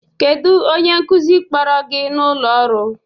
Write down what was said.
Kedu onye nkuzi kpọrọ gị n'ụlọ ọrụ?